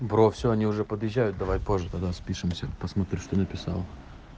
бро все они уже подъезжают давай позже давай спишемся посмотришь что написал